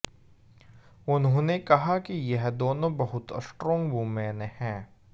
उन्होंने कहा कि यह दोनों बहुत स्ट्रांग वुमेन हैं